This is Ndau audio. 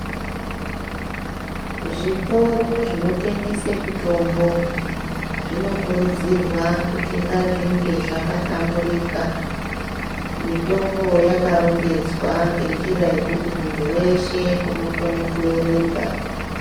Zvitoro zvinotengese mitombo zvinokurudzirwa kuti ngazvinge zvakahlamburika mitombo yakarongedzwa ngenjira yekuti muntu weshe unokone kuerenga.